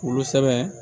Wolo sɛbɛbɛ